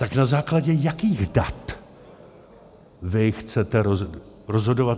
Tak na základě jakých dat vy chcete rozhodovat?